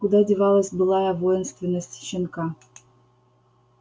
куда девалась былая воинственность щенка